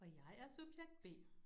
Og jeg er subjekt B